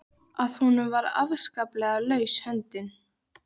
Að honum var afskaplega laus höndin.